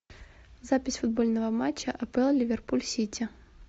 запись футбольного матча апл ливерпуль сити